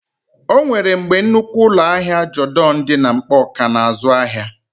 O nwere mgbe nnukwu ụlọ ahịa Jodọn dị na Nkpọọ kà ná-azụ ahịa.